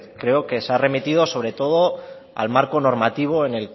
creo que se ha remitido sobre todo al marco normativo